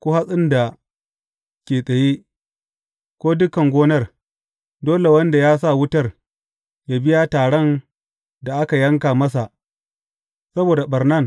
ko hatsin da ke tsaye, ko dukan gonar, dole wanda ya sa wutar, yă biya taran da aka yanka masa saboda ɓarnan